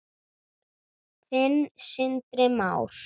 Þinn, Sindri Már.